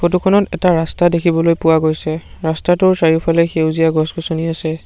Photo খনত এটা ৰাস্তা দেখিবলৈ পোৱা গৈছে ৰাস্তাটোৰ চাৰিওফালে সেউজীয়া গছ-গছনি আছে।